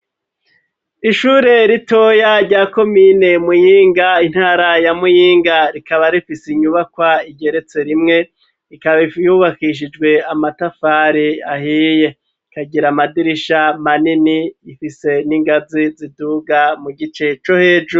Ishure ritoya rya komine muyinga ,intara ya muyinga, rikaba rifise inyubakwa igeretse rimwe, rikaba yubakishijwe amatafari ahiye ,kagira amadirisha manini ifise n'ingazi ziduga mu gice co hejuru.